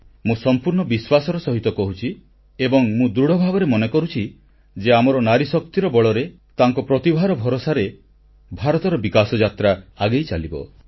ମୁଁ ସମ୍ପୂର୍ଣ୍ଣ ବିଶ୍ୱାସର ସହିତ କହୁଛି ଏବଂ ମୁଁ ଦୃଢ଼ ଭାବରେ ମନେ କରୁଛି ଯେ ଆମର ନାରୀଶକ୍ତିର ବଳରେ ତାଙ୍କ ପ୍ରତିଭାର ଭରସାରେ ଭାରତର ବିକାଶଯାତ୍ରା ଆଗେଇ ଚାଲିବ